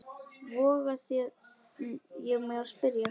voga ég mér að spyrja.